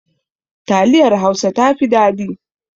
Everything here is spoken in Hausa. Taliyar Hausa ta fi dadi